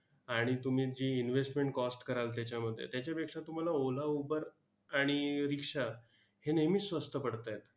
आणि तुम्ही जी investment cost कराल त्याच्यामध्ये, त्याच्यापेक्षा तुम्हाला ओला, उबर आणि rikshaw हे नेहमीच स्वस्त पडतायत.